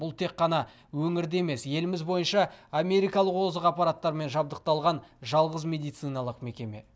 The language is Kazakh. бұл тек қана өңірде емес еліміз бойынша америкалық озық аппараттармен жабдықталған жалғыз медициналық мекеме